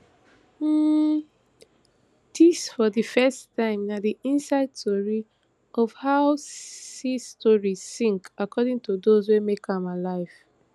um dis for di first time na di inside tori of how di sea story sink according to those wey make am alive